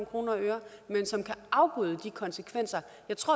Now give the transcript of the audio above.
kroner og øre altså